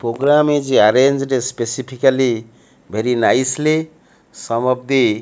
program is arranged a specifically very nicely some of the --